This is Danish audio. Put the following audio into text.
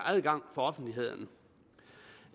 adgang for offentligheden